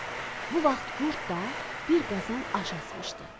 Bu vaxt qurd da bir qazan aş asmışdı.